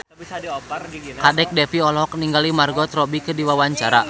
Kadek Devi olohok ningali Margot Robbie keur diwawancara